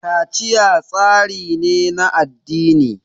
kaciya tsari ne na addini